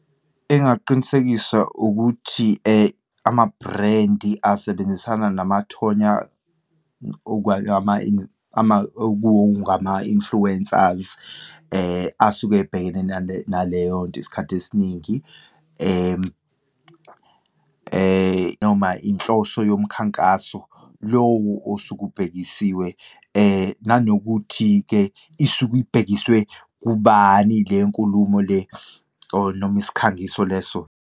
Engaqinisekisa ukuthi ama-brand asebenzisana namathonya okungama-influencers asuke ebhekene nale, naleyo nto isikhathi esiningi, noma inhloso yomkhankaso, lowo osuke ubhekisiwe, nanokuthi-ke isuke ibhekiswe kubani le nkulumo le or noma isikhangiso leso.